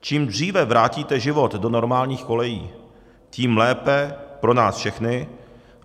Čím dříve vrátíte život do normálních kolejí, tím lépe pro nás všechny.